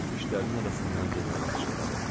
O dişlərinin arasından generala pıçıldadı.